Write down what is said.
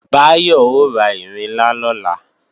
Báyọ̀ ó ra ìrinlá lọ́la